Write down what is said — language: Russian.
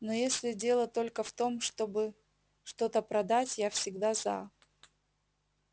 но если дело только в том чтобы что-то продать я всегда за